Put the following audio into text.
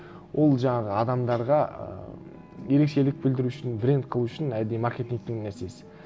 ол жаңағы адамдарға ыыы ерекшелік білдіру үшін бренд қылу үшін әдейі маркетингтің нәрсесі